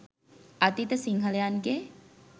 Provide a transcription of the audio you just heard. අතීත සිංහලයන්ගේ